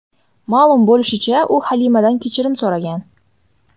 Ma’lum bo‘lishicha, u Halimadan kechirim so‘ragan.